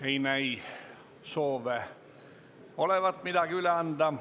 Ei näi soove olevat midagi üle anda.